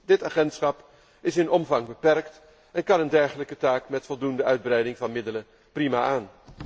Dit agentschap is in omvang beperkt en kan een dergelijke taak met voldoende uitbreiding van middelen prima aan.